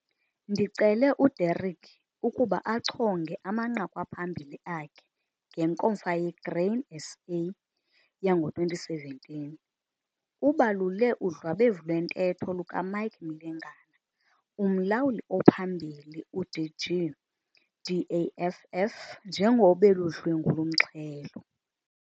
Ndicele uDerek ukuba achonge amanqaku aphambili akhe ngeNkomfa yeGrain SA yango-2017. Ubalule udlwabevu lwentetho lukaMike Mlengana, uMlawuli oPhambili, uDG - DAFF njengobeludlwengul' umxhelo.